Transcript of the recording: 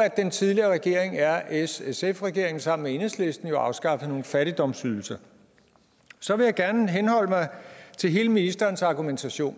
at den tidligere regering rssf regeringen sammen med enhedslisten jo afskaffede nogle fattigdomsydelser så vil jeg gerne henholde mig til hele ministerens argumentation